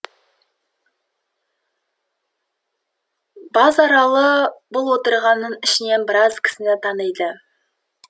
базаралы бұл отырғанның ішінен біраз кісіні таниды